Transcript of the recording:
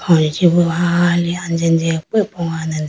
aye chibu hali anjijipi pogane de.